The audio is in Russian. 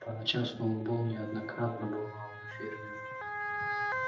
по ночам сноуболл неоднократно бывал на ферме